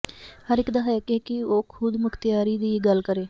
ਹਰ ਇੱਕ ਦਾ ਹੱਕ ਹੈ ਕਿ ਉਹ ਖ਼ੁਦਮੁਖ਼ਤਿਆਰੀ ਦੀ ਗੱਲ ਕਰੇ